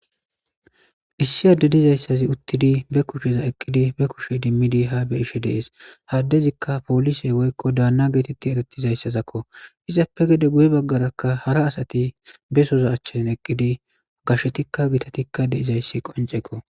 issi adde dizayssazi uttidi be kusheza eqqidi be kushe dimmidi ha be ishe dees haddezikka polise woykko daanna geetetti erettizayssazakko izappe gede guye baggarakka hara asati besoza achchazin eqqidi gashetikka gitatikka de izayssi qoncekko